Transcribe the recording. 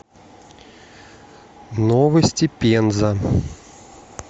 новости пенза